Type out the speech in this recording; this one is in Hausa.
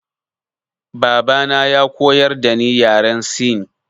Baba na ya koyar dani yaren sin.